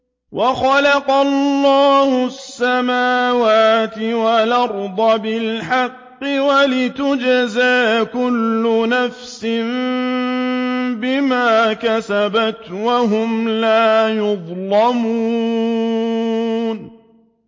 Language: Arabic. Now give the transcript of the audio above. وَخَلَقَ اللَّهُ السَّمَاوَاتِ وَالْأَرْضَ بِالْحَقِّ وَلِتُجْزَىٰ كُلُّ نَفْسٍ بِمَا كَسَبَتْ وَهُمْ لَا يُظْلَمُونَ